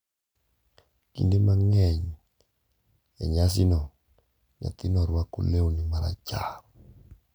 Kinde mang’eny e nyasino, nyathino rwako lewni marachar.